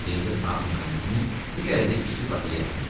Birində saat mexanizmi, digərində kiçik batareya var idi.